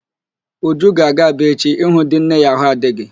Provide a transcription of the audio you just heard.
Uju ga-aga Aba echi ịhụ di nne ya ahụ adịghị.